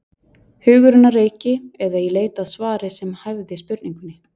Hugurinn á reiki eða í leit að svari sem hæfði spurningunni.